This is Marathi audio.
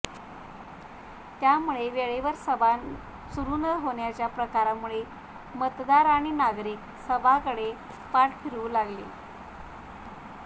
त्यामुळे वेळेवर सभा सुरू न होण्याच्या प्रकारांमुळे मतदार आणि नागरिक सभांकडे पाठ फिरवू लागले